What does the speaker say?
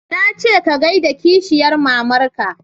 Na ce ka gaida kishiyar mamar ka